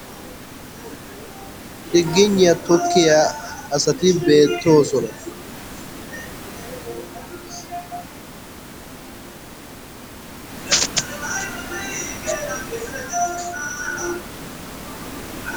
Chiggigniya tokkiya asati beettoosona.